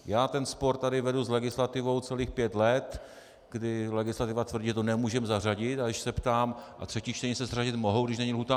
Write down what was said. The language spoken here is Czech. Já ten spor tady vedu s legislativou celých pět let, kdy legislativa tvrdí, že to nemůžeme zařadit, a když se ptám: A třetí čtení se zařadit mohou, když není lhůta?